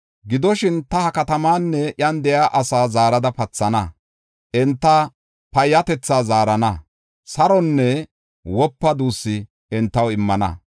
Gidoshin, “ta ha katamaanne iyan de7iya asaa zaarada pathana; enta payyatetha zaarana; saronne wopa duussu entaw immana.